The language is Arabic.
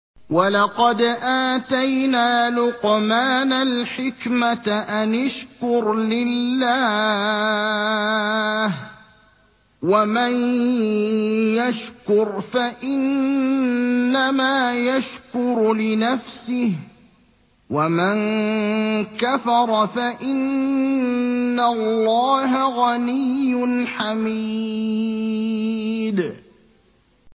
وَلَقَدْ آتَيْنَا لُقْمَانَ الْحِكْمَةَ أَنِ اشْكُرْ لِلَّهِ ۚ وَمَن يَشْكُرْ فَإِنَّمَا يَشْكُرُ لِنَفْسِهِ ۖ وَمَن كَفَرَ فَإِنَّ اللَّهَ غَنِيٌّ حَمِيدٌ